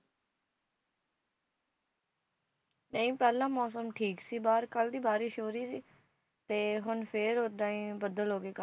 ਨਹੀਂ, ਪਹਿਲਾਂ ਮੌਸਮ ਠੀਕ ਸੀ ਬਾਹਰ, ਕੱਲ ਦੀ ਬਾਰਿਸ਼ ਹੋ ਰਹੀ ਸੀ ਤੇ ਹੁਣ ਫ਼ੇਰ ਓਦਾਂ ਹੀ ਬੱਦਲ ਹੋ ਗਏ